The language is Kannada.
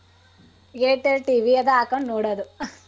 Airtel TV ಅದ್ ಹಾಕೋಂಡ್ ನೋಡೋದು.